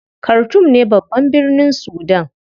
Khartoum ne babban birnin Sudan.